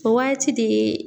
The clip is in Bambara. O waati de ye